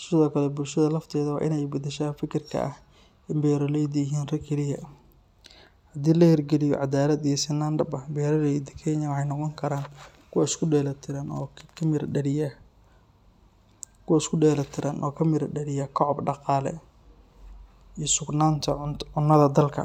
Sidoo kale, bulshada lafteeda waa in ay beddeshaa fikirka ah in beeraleydu yihiin rag kaliya. Haddii la hirgeliyo cadaalad iyo sinnaan dhab ah, beeraleyda Kenya waxay noqon karaan kuwo isku dheelitiran oo ka mira dhaliya koboc dhaqaale iyo sugnaanta cunnada ee dalka.